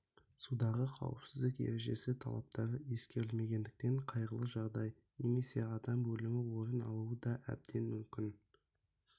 судағы қауіпсіздік ережесі талаптары ескерілмегендіктен қайғылы жағдай немесе адам өлімі орын алуы да әбден мүмкін